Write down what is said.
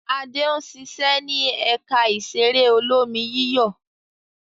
Adé ń ṣiṣẹ́ ní ẹ̀ka ìṣeré olómi-yíyọ̀.